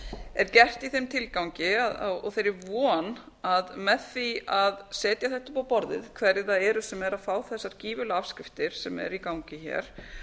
er gert í þeim tilgangi og þeirri von að með því að setja þetta upp á borðið hverjir það eru sem eru að fá þessar gífurlegu afskriftir sem eru í gangi hér